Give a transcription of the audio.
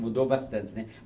Mudou bastante, né?